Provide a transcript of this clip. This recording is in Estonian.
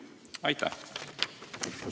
Aitäh!